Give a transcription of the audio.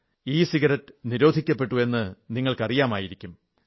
ഭാരതത്തിൽ ഈ അടുത്ത കാലത്ത് ഇ സിഗരറ്റ് നിരോധിക്കപ്പെട്ടു എന്ന് നിങ്ങൾക്കറിയാമായിരിക്കും